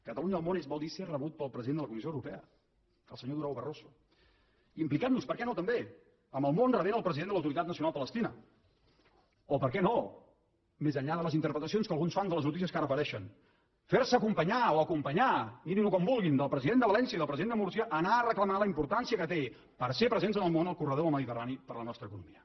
catalunya al món vol dir ser rebut pel president de la comissió europea el senyor durão barroso implicant nos per què no també amb el món rebent el president de l’autoritat nacional palestina o per què no més enllà de les interpretacions que alguns fan de les notícies que ara apareixen fer se acompanyar o acompanyar mirin ho com vulguin del president de valència i del president de múrcia a anar a reclamar la importància que té per ser presents en el món el corredor del mediterrani per a la nostra economia